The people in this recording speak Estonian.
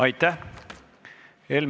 Aitäh!